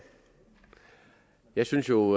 jeg synes jo